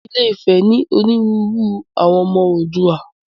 Ilé-ifè ní orírun àwọn ọmọ Oòduà.